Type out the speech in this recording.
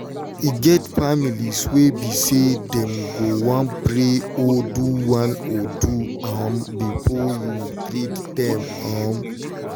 e get families wey be say them go one pray or do one or two um before you treat them. um